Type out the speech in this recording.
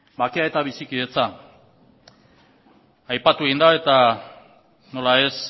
bakea eta bizikidetza aipatu egin da eta nola ez